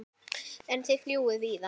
En þið fljúgið víðar?